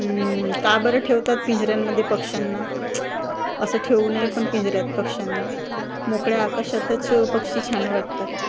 उम्म का बरं ठेवतात पिंजऱ्यांमध्ये पक्षांना असं ठेवू नये पण पिंजऱ्यात पक्षांना मोकळ्या आकाशातच पक्षी छान वाटतात .